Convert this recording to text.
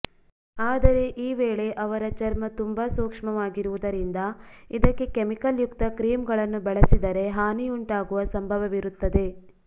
ಆದರೆ ಈ ವೇಳೆ ಅವರ ಚರ್ಮ ತುಂಬಾ ಸೂಕ್ಷ್ಮವಾಗಿರುವುದರಿಂದ ಇದಕ್ಕೆ ಕೆಮಿಕಲ್ ಯುಕ್ತ ಕ್ರೀಂಗಳನ್ನು ಬಳಸಿದರೆ ಹಾನಿಯುಂಟಾಗುವ ಸಂಭವವಿರುತ್ತದೆ